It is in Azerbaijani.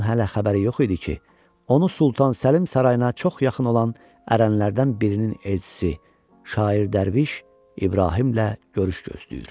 Şahın hələ xəbəri yox idi ki, onu Sultan Səlim sarayına çox yaxın olan ərənlərdən birinin elçisi şair dərviş İbrahimlə görüş gözləyir.